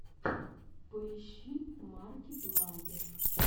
поищи марки плайер